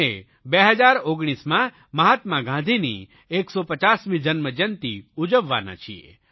અને 2019માં મહાત્મા ગાંધીની 150મી જન્મજયંતી ઉજવવાના છીએ